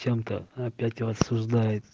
чем-то опять рассуждает